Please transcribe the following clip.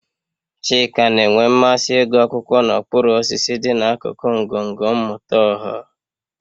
Chika na-enwe mmasị ịgụ akwụkwọ n'okpuru osisi dị n'akụkụ ngọngọ mmụta ọha